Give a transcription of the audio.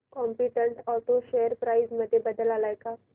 competent auto share price मध्ये बदल आलाय का